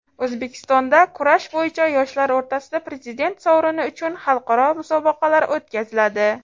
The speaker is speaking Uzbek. O‘zbekistonda kurash bo‘yicha yoshlar o‘rtasida prezident sovrini uchun xalqaro musobaqalar o‘tkaziladi.